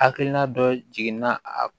Hakilina dɔ jiginna a